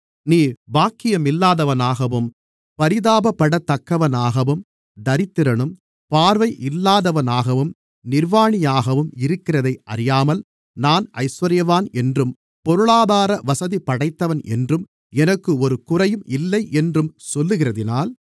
நீ பாக்கியமில்லாதவனாகவும் பரிதாபப்படத்தக்கவனாகவும் தரித்திரனும் பார்வை இல்லாதவனாகவும் நிர்வாணியாகவும் இருக்கிறதை அறியாமல் நான் ஐசுவரியவான் என்றும் பொருளாதார வசதிபடைத்தவன் என்றும் எனக்கு ஒரு குறையும் இல்லை என்றும் சொல்லுகிறதினால்